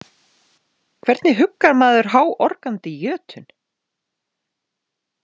Hvernig huggar maður háorgandi jötun?